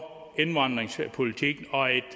en indvandringspolitik